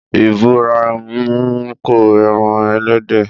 Ìbùràímù ko ẹran ẹlẹ́dẹ̀.